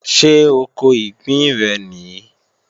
Ṣé oko ìgbín rẹ̀ nìí?